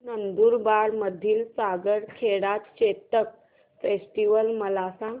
नंदुरबार मधील सारंगखेडा चेतक फेस्टीवल मला सांग